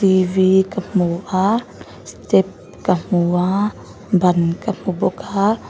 ka hmu a step ka hmu aaa ban ka hmu bawk aa--